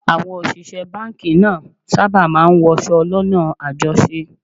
Àwọn òṣìṣẹ́ báńkì náà sábà máa ń wọṣọ lọ́nà àjọṣe